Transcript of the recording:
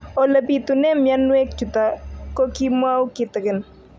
Ole pitune mionwek chutok ko kimwau kitig'�n